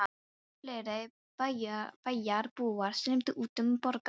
Stöðugt fleiri bæjarbúar streymdu út um borgarhliðið.